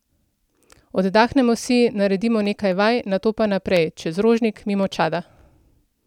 Oddahnemo si, naredimo nekaj vaj, nato pa naprej, čez Rožnik, mimo Čada.